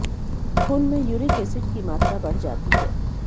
खून में uric acid की मात्रा बढ़ जाती है